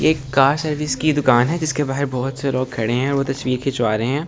एक car service की दुकान है जिसके बाहर बहुत से लोग खड़े हैं वो तस्वीर खिंचवा रहे हैं सारे।